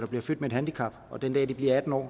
bliver født med et handicap og den dag de bliver atten år